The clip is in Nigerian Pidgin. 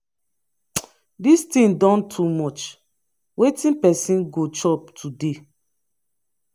dis thing don too much. wetin person go chop today?